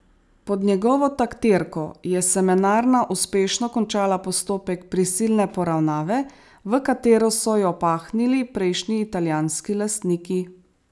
Pod njegovo taktirko je Semenarna uspešno končala postopek prisilne poravnave, v katero so jo pahnili prejšnji italijanski lastniki.